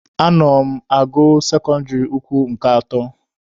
Ana m agụ sekọndịrị ukwu nke atọ.